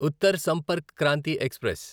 Uttar Sampark Kranti express